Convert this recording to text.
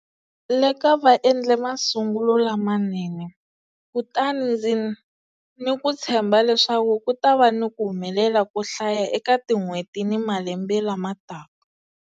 Leka va endle masungulo lamanene, kutani ndzi ni ku tshemba leswaku ku ta va ni ku humelela ko hlaya eka tin'hweti ni malembe lamataka.